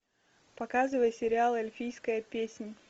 показывай сериал эльфийская песнь